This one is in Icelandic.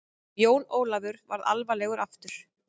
Jón Ólafur varð alvarlegur aftur.